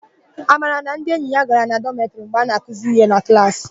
Amara na ndi enyi ya gara na dọmetịrị mgbe a na-akụzi íhé na klaasị.